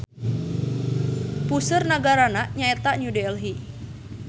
Puseur nagarana nya eta New Delhi.